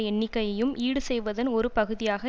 எண்ணிக்கையையும் ஈடுசெய்வதன் ஒரு பகுதியாக